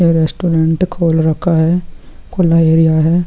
ये रेस्टोरेंट खोल रखा है| खुला एरिया है।